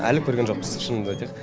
әлі көрген жоқпыз шынымды айтайық